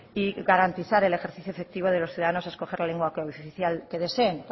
y garantizar el ejercicio efectivo de los ciudadanos a escoger la lengua oficial que deseen